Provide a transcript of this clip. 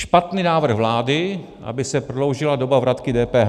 Špatný návrh vlády, aby se prodloužila doba vratky DPH.